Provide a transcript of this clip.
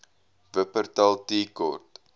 wupperthal tea court